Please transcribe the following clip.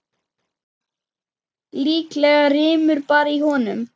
Líklega rymur bara í honum.